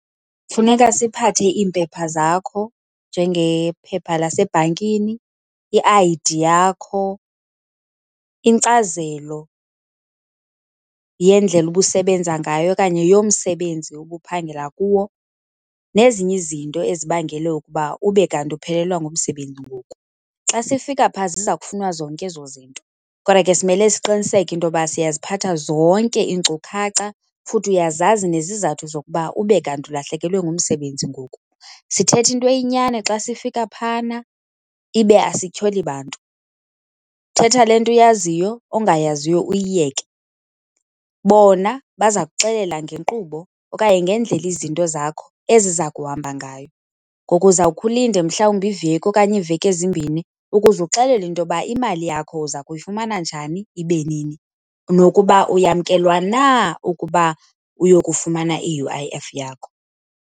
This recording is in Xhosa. Funeka siphathe iimpepha zakho, njengephepha lasebhankini, i-I_D yakho, inkcazelo yendlela obusebenza ngayo okanye yomsebenzi ubuphangela kuwo nezinye izinto ezibangele ukuba ube kanti uphelelwa ngumsebenzi ngoku. Xa sifika phaa ziza kufunwa zonke ezo zinto. Kodwa ke simele siqiniseke into yoba siyaziphatha zonke iinkcukhaca futhi uyazazi nezizathu zokuba ube kanti ulahlekelwe ngumsebenzi ngoku. Sithetha into eyinyani xa sifika phana, ibe asityholi bantu. Thetha le nto uyaziyo, ongayaziyo uyiyeke. Bona baza kuxelela ngenkqubo okanye ngendlela izinto zakho eziza kuhamba ngayo. Ngoku uzawukhe ulinde, mhlawumbi iveki okanye iiveki ezimbini ukuze uxelelwe into yoba imali yakho uza kuyifumana njani ibe nini, nokuba uyamkelwa na ukuba uyokufumana i-U_I_F yakho.